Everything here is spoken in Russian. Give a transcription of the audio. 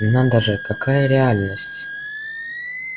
но надо же какая реальность